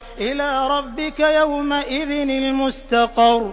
إِلَىٰ رَبِّكَ يَوْمَئِذٍ الْمُسْتَقَرُّ